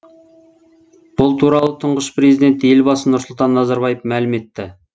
бұл туралы тұңғыш президент елбасы нұрсұлтан назарбаев мәлім етті